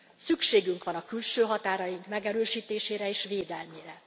Szükségünk van a külső határaink megerősítésére és védelmére.